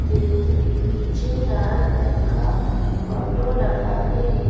पीछे लाल रंग का ऑटो लगा है।